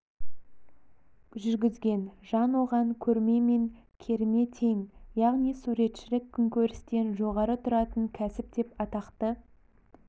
жүргізген жан оған керме мен көрме тең яғни суретшілік күнкөрістен жоғары тұратын кәсіп деп атақты